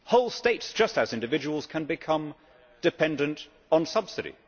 Whole states just as individuals can become dependent on subsidy.